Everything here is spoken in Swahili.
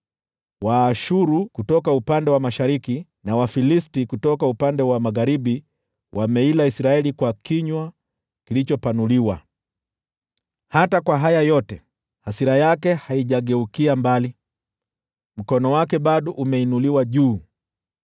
Waashuru kutoka upande wa mashariki na Wafilisti kutoka upande wa magharibi wameila Israeli kwa kinywa kilichopanuliwa. Hata kwa haya yote, hasira yake haijageukia mbali, mkono wake bado umeinuliwa juu.